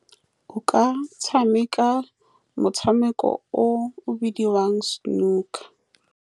O ka tshameka motshameko o o bidiwang snooker.